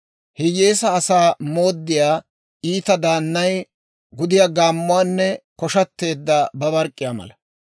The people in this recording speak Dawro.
Hiyyeesaa asaa mooddiyaa iita daannay gudiyaa gaammuwaanne koshateedda babark'k'iyaa mala.